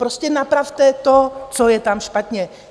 Prostě napravte to, co je tam špatně.